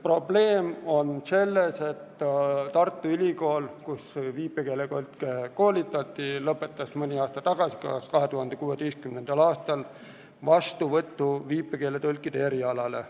Probleem on selles, et Tartu Ülikool, kus viipekeeletõlke koolitati, lõpetas mõni aasta tagasi, vist 2016. aastal vastuvõtu viipekeeletõlkide erialale.